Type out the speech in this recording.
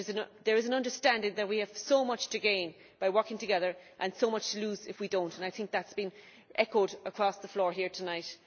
There is an understanding that we have so much to gain by working together, and so much to lose if we do not, and I think that has been echoed across the floor here tonight.